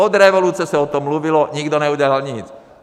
Od revoluce se o tom mluvilo, nikdo neudělal nic.